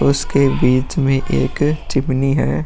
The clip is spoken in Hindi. उसके बीच में एक चिमनी है।